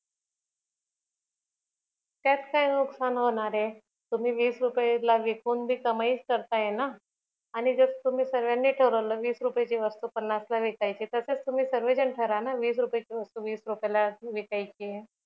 त्यात काय नुकसान होणाराय तुम्ही वीस रुपये ला विकून कमाईच करताय ना आणि जर तुम्ही सगळ्यांनी ठरवलं वीस रूपये ची वस्तू पन्नास लाच विकायची तर तसाच तुम्ही सर्व जन ठरवा ना वीस रुपायची वस्तू वीस रुपयलाच विकायची